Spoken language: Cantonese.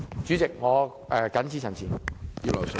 主席，我謹此陳辭。